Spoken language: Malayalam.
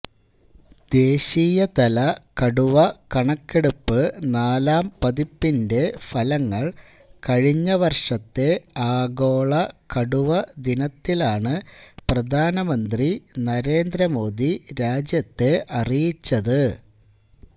ദേശീയതല കടുവ കണക്കെടുപ്പ് നാലാം പതിപ്പിന്റെ ഫലങ്ങള് കഴിഞ്ഞ വര്ഷത്തെ ആഗോള കടുവ ദിനത്തിലാണ് പ്രധാനമന്ത്രി നരേന്ദ്രമോദി രാജ്യത്തെ അറിയിച്ചത്